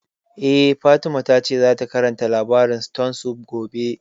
Eh, Fatima ta ce zata karanta labarin stone soup gobe